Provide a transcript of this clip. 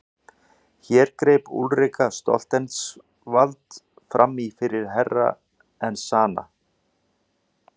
Hér greip Úlrika Stoltzenwald framí fyrir Herra Enzana.